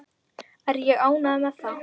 Er ég ánægður með það?